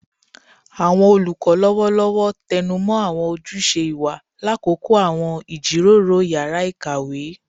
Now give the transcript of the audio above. Awọn olukọ lọwọlọwọ tẹnumọ awọn ojuse iwa lakoko awọn ijiroro yara ikawe